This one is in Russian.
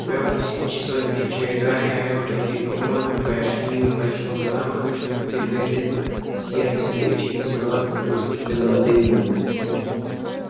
ровно в семь часов вечера гарри рон и гермиона прошли мимо большого зала где призывно сияли свечи и на столах поблескивали золотые блюда